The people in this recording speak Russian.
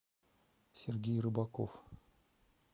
сергей рыбаков